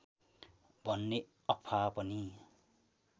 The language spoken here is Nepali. भन्ने अफवाह पनि